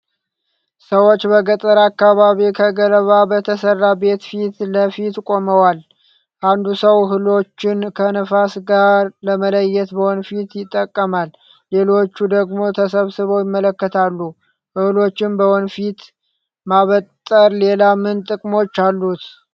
ሰዎች በገጠር አካባቢ ከገለባ በተሰራ ቤት ፊት ለፊት ቆመዋል ። አንዱ ሰው እህሎችን ከነፋስ ጋር ለመለየት በወንፊት ይጠቀማል ፣ ሌሎቹ ደግሞ ተሰብስበው ይመለከታሉ። እህሎችን በወንፊት ማበጠር ሌላ ምን ጥቅሞች አሉት?